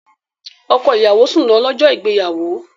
Ọkọ ìyàwó sùn lọ, lọ́jọ́ ìgbéyàwó